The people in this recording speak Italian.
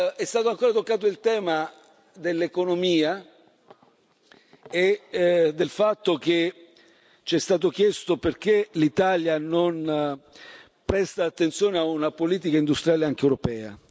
È stato ancora toccato il tema dell'economia e del fatto che ci è stato chiesto perché l'Italia non presta attenzione a una politica industriale, anche europea.